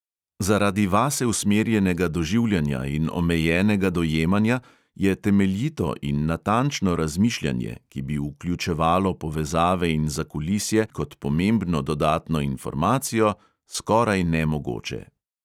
Zaradi vase usmerjenega doživljanja in omejenega dojemanja je temeljito in natančno razmišljanje, ki bi vključevalo povezave in zakulisje kot pomembno dodatno informacijo, skoraj nemogoče.